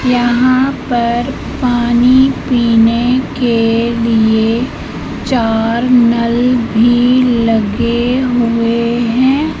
यहां पर पानी पीने के लिए चार नल भी लगे हुए हैं।